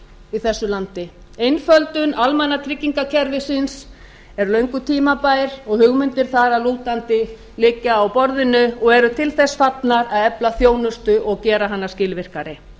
í þessu landi einföldun almannatryggingakerfisins er löngu tímabær og hugmyndir þar að lútandi liggja á borðinu og eru til þess fallnar að efla þjónustu og gera hana skilvirkari